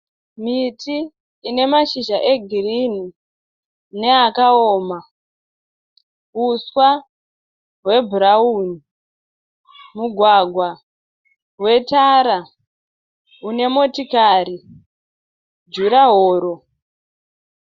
Miti ine mashizha egirinhi neakaoma. Uswa hwebhurauni. Mugwagwa wetara unemotikari. Jurahoro.